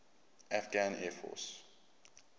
afghan air force